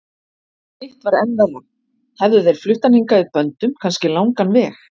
Hitt var enn verra, hefðu þeir flutt hann hingað í böndum, kannski langan veg.